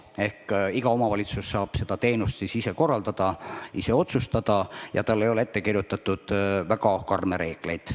Ehk iga omavalitsus saab siis seda teenust ise korraldada ja otsustada, nii et talle ei ole ette kirjutatud väga karme reegleid.